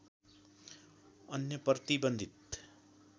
अन्य प्रतिबन्धित